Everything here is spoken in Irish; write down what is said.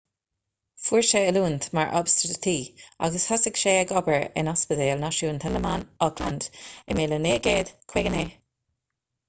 fuair sé oiliúint mar obstatraí agus thosaigh sé ag obair in ospidéal náisiúnta na mban auckland i 1959